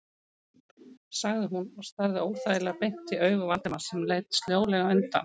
sagði hún og starði óþægilega beint í augu Valdimars sem leit sljólega undan.